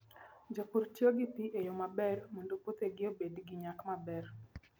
Jopur tiyo gi pi e yo maber mondo puothegi obed gi nyak maber.